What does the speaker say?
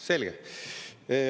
Selge.